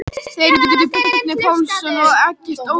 Þeir hétu Bjarni Pálsson og Eggert Ólafsson.